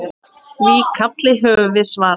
Því kalli höfum við svarað.